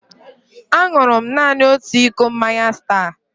Aṅụrụ m naanị otu iko mmanya Star.